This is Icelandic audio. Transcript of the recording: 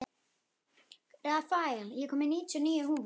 Rafael, ég kom með níutíu og níu húfur!